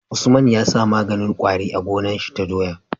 Usman yasa maganin kwari a gonar shi ta doya?